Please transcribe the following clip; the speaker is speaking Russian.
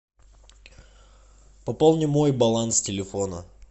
пополни мой баланс телефона